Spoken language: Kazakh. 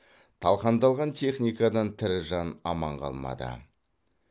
талқандалған техникадан тірі жан аман қалмады